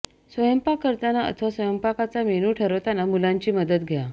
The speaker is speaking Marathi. स्वयंपाक करताना अथवा स्वयंपाकाचा मेन्यू ठरवताना मुलांची मदत घ्या